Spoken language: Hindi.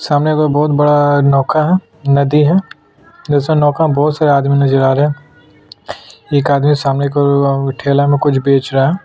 सामने एक बहुत बड़ा नौका है नदी है जिसमे नौका में बहुत सारा आदमी नज़र आ रहे है एक आदमी सामने ठेले में कुछ बेच रहा है।